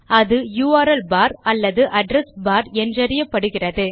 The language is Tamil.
அது யுஆர்எல் பார் அல்லது அட்ரெஸ் பார் என்றறியப்படுகிறது